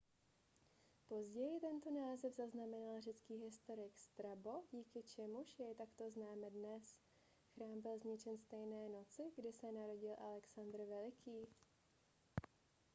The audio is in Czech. později tento název zaznamenal řecký historik strabo díky čemuž jej takto známe dnes chrám byl zničen stejné noci kdy se narodil alexandr veliký